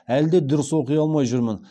әлі де дұрыс оқи алмай жүрмін